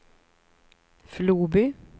Floby